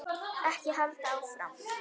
Ekki halda áfram.